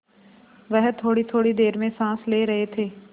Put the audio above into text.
वह थोड़ीथोड़ी देर में साँस ले रहे थे